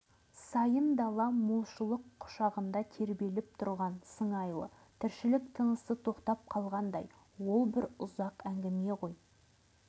ал оқиғаның бүге-шігесін өз көзімен көрген бұрынғы майдангер кейін ұзақ жыл мемлекет қауіпсіздігі органында істеген мамыр ауылының тұрғыны